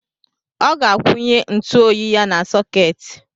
Ọ ga-akwụnye ntụoyi ya na sọketi.